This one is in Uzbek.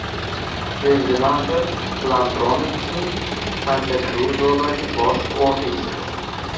Keyingi manzil: Plantronics’ning Santa-Kruzdagi bosh ofisi.